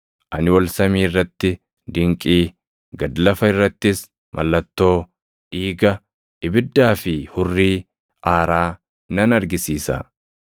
Ani ol samii irratti dinqii, gad lafa irrattis mallattoo, dhiiga, ibiddaa fi hurrii aaraa nan argisiisa.